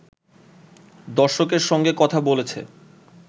দর্শকের সঙ্গে কথা বলেছে